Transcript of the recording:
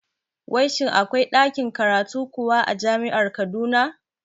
Wai shin akwai ɗakin karatu kuwa a jami'ar Kaduna?